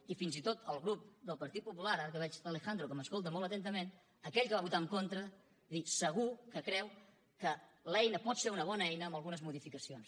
i fins i tot el grup del partit popular ara que veig l’alejandro que m’escolta molt atentament aquell que va votar en contra vull dir segur que creu que l’eina pot ser una bona eina amb algunes modificacions